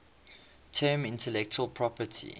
term intellectual property